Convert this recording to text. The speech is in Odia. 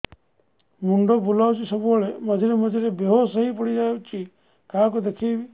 ମୁଣ୍ଡ ବୁଲାଉଛି ସବୁବେଳେ ମଝିରେ ମଝିରେ ବେହୋସ ହେଇ ପଡିଯାଉଛି କାହାକୁ ଦେଖେଇବି